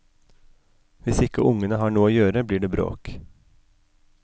Hvis ikke ungene har noe å gjøre, blir det bråk.